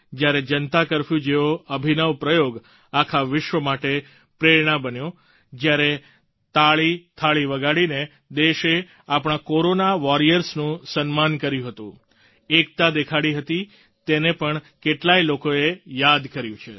જ્યારે જનતા કર્ફ્યૂ જેવો અભિનવ પ્રયોગ આખા વિશ્વ માટે પ્રેરણા બન્યો જ્યારે તાળીથાળી વગાડીને દેશે આપણા કોરોના વોરિયર્સનું સન્માન કર્યું હતું એકતા દેખાડી હતી તેને પણ કેટલાય લોકોએ યાદ કર્યું છે